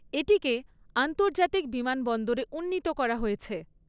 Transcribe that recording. এটিকে আন্তর্জাতিক বিমানবন্দরে উন্নীত করা হয়েছে।